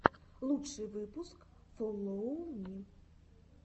лучший выпуск фоллоу ми